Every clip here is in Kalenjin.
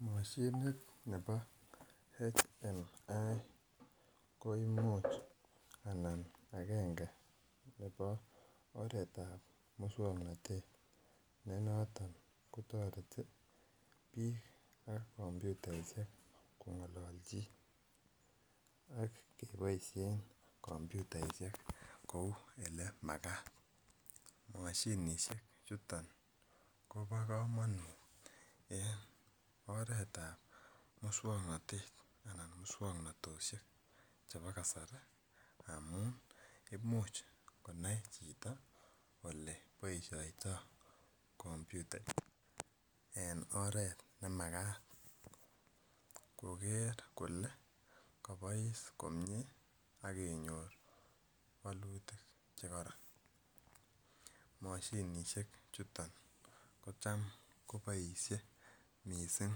Moshinit nebo Human Machine Interface koimuch anan agenge nebo oretab muswongnotet nenoton kotoreti biik ak komputaisiek kong'olonchin ak koboisien komputaisiek kou elemakat moshinisiek chuton kobo komonut en oretab muswongnotet anan muswongnotosiek chebo kasari amun imuch konai chito oleboisiotoo komputa en oret nemakat koker kole kobois komie ak kenyor wolutik chekoron moshinisiek chuton ko tam koboisie missing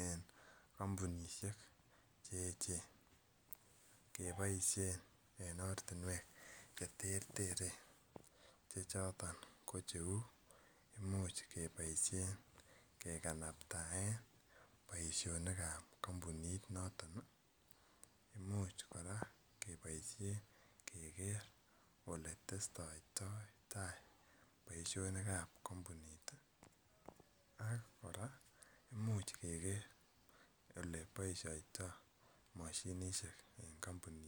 en kampunisiek cheechen keboisien en ortinwek cheterteren chechoton ko cheu imuch keboisien kekanaptaen boisionikab kampunit noton imuch kora keboisien keker oletestoitai boisionikab kampunit ak kora imuch keker eleboisiotoo mashinisiek en kampunit